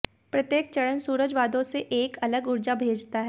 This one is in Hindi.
प्रत्येक चरण सूरज वादों से एक अलग ऊर्जा भेजता है